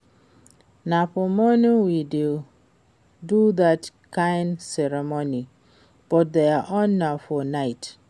Na for morning we dey do dat kin ceremony but their own na for night